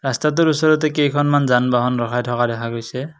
ৰাস্তাটোৰ ওচৰতে কেইখনমান যান-বাহন ৰখাই থকা দেখা গৈছে।